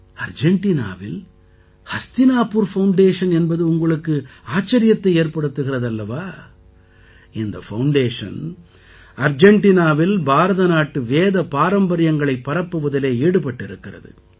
அர்ஜெண்டினாவில் Hastinapur foundation என்பது உங்களுக்கு ஆச்சரியத்தை ஏற்படுத்துகிறது அல்லவா இந்த ஃபவுண்டேஷன் அர்ஜெண்டினாவில் பாரத நாட்டு வேதப் பாரம்பரியங்களைப் பரப்புவதிலே ஈடுபட்டிருக்கிறது